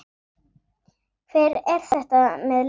Hver er þetta með leyfi?